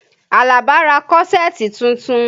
Alaba ra kọ́ṣẹ̀ẹ̀tì tuntun